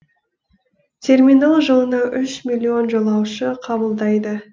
терминал жылына үш миллион жолаушы қабылдайды